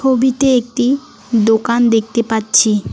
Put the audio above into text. ছবিতে একটি দোকান দেখতে পাচ্ছি।